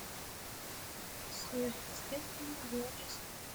сверхъестественное девятый сезон